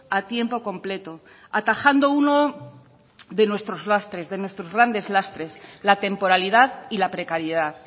a tiempo completo atajando uno de nuestros lastres de nuestros grandes lastres la temporalidad y la precariedad